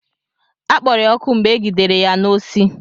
Akpọrọ ya ọkụ mgbe egidere ya n'osi.